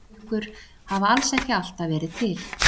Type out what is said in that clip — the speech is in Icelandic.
Klukkur hafa alls ekki alltaf verið til.